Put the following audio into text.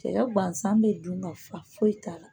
Cɛya bansan bɛ dun ka fa foyi t'a la